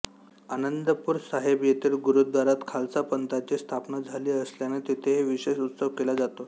आनंदपूर साहिब येथिल गुरुद्वारात खालसा पंथाची स्थापना झाली असल्याने तेथेही विशेष उत्सव केला जातो